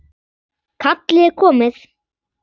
Kallið er komið